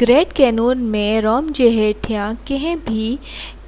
grand Canyon ۾ rim جي هيٺيان ڪنهن به